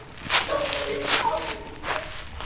Viltu að ég slái þig líka?